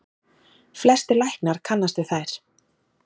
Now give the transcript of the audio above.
Flestir læknar kannist við þær.